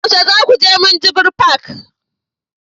yaushe za ku je minjibir fak?